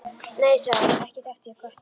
Nei sagði hún, ekki þekki ég köttinn